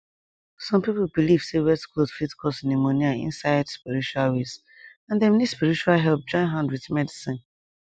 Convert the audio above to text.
some people believe say wet cloth fit cause pneumonia inside spiritual ways and dem need spiritual help join hand with medicine